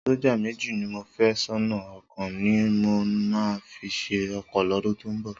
Sọ́jà méjì ni mò ń fẹ́ sọ́nà, ọ̀kan ni mo máa fi ṣe ọkọ lọ́dún tó ń bọ̀.